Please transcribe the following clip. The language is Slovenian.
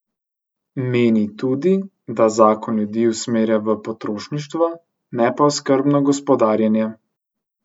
Meni tudi, da zakon ljudi usmerja v potrošništvo, ne pa v skrbno gospodarjenje.